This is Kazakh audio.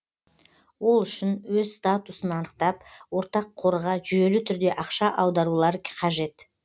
ол үшін өз статусын анықтап ортақ қорға жүйелі түрде ақша аударулары қажет